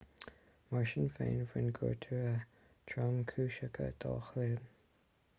mar sin féin bhain gortuithe tromchúiseacha dá chloigeann